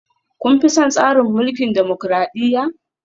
Kun fi son tsarin mulkin dimokradiyya?